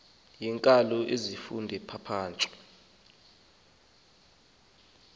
yeenkalo zezifundo ezipapashwe